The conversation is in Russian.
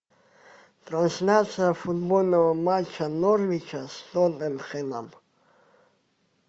трансляция футбольного матча норвича с тоттенхэмом